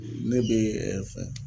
ne be fɛn